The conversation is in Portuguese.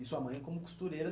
E sua mãe como costureira.